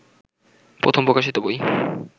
প্রথম প্রকাশিত বই